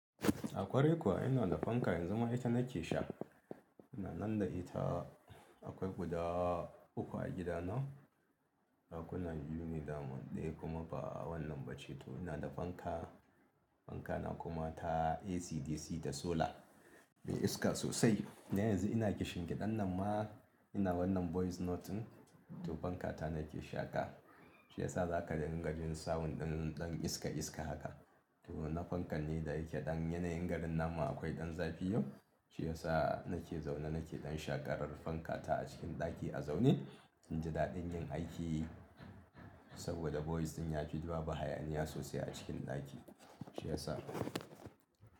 A kwarai kuwa ina da fanka yanzu ma ita nake sha. Inanan da ita akwai guda uku a gida na. Dakuna biyu ne daman ɗaya kuma ba wannan ba ce. To ina da fanka, fanka na kuma ta ACDC da solar mai iska sosai. Dan yanzu ina kishin ƙidan nan ma ina wannan voice note ɗin, to fanka ta nake shaƙa shi yasa za ka dinga jin sound ɗin ɗan iska iska haka. To na fankan ne da yake ɗan yanayin garin namu akwai ɗan zafi yau shi yasa nake zaune nake ɗan shaƙarar fanka ta a cikin ɗaki a zaune in ji daɗin yin aiki saboda voice ɗin ya fi babu hayaniya sosai a cikin ɗaki shi yasa.